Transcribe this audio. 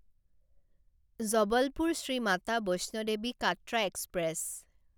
Jabalpur Shri Mata Vaishno Devi Katra express